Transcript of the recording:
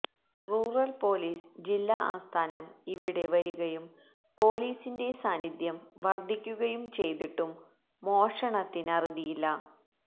rural police ജില്ലാ ആസ്ഥാനം ഇവിടെ വരികയും പോലീസിന്റെ സാന്നിധ്യം വര്ധിക്കുകയും ചെയ്തിട്ടും മോഷണത്തിനറുതിയില്ല